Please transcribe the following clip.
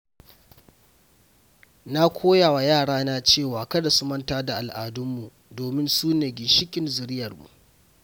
Na koya wa yarana cewa kada su manta da al’adunmu, domin su ne ginshiƙin zuriyarmu.